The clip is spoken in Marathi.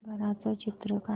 घराचं चित्र काढ